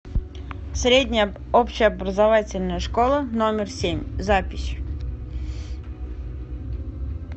средняя общеобразовательная школа номер семь запись